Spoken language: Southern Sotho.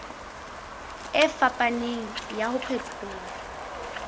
e fapaneng ya ho phethola